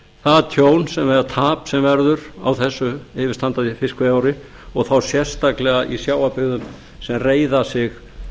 það tjón eða tap sem verður á þessu yfirstandandi fiskveiðiár og þá sérstaklega í sjávarbyggðum sem reiða sig